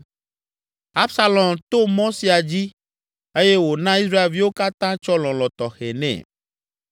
Absalom to mɔ sia dzi eye wòna Israelviwo katã tsɔ lɔlɔ̃ tɔxɛ nɛ.